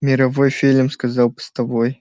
мировой фильм сказал постовой